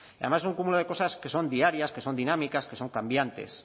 además es un cúmulo de cosas que son diarias que son dinámicas que son cambiantes